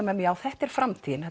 með mér þetta er framtíðin